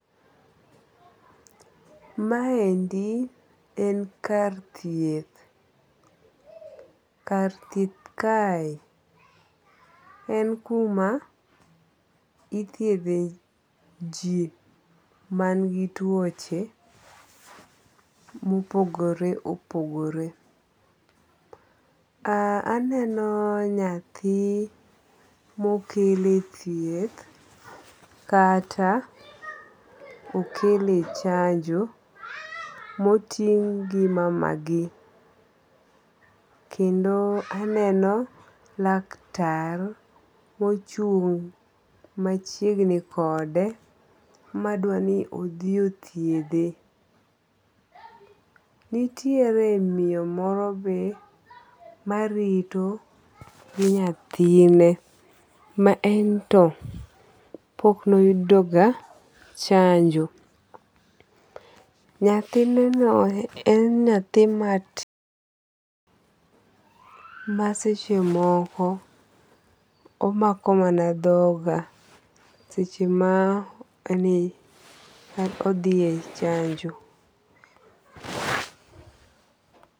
Ma endi en kar thieth. Kar thieth kae en kuma ithiedhe ji man gi tuoche mopogore opogore. Aneno nyathi mokele thieth kata okele chanjo moting' gi mamagi. Kendo aneno laktar mochung' machiegni kode madwa ni odhi othiedhe. Nitiere miyo moro be marito gi nyathine. Ma en to pok noyudo ga chanjo. Nyathine no en nyathi maseche moko omako mana dhoga seche ma odhiye chanjo.